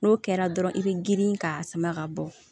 N'o kɛra dɔrɔn i be girin k'a sama ka bɔ